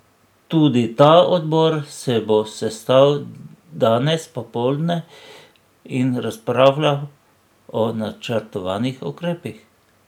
Tudi ta odbor se bo sestal danes popoldne in razpravljal o načrtovanih ukrepih.